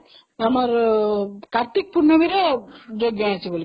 ଆମର କାର୍ତିକ ପୂର୍ଣମୀରେ ଯଜ୍ଞ ଅଛି ବୋଲିକି